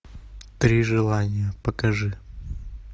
три желания покажи